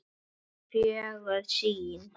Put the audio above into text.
Það er fögur sýn.